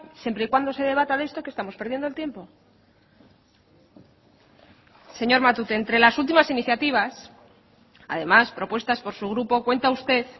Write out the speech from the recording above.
siempre y cuando se debata de esto que estamos perdiendo el tiempo señor matute entre las últimas iniciativas además propuestas por su grupo cuenta usted